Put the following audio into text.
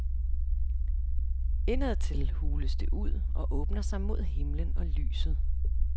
Indadtil hules det ud, og åbner sig mod himlen og lyset.